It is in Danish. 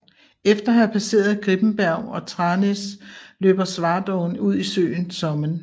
Efter at have passeret Gripenberg og Tranås løber Svartån ud i søen Sommen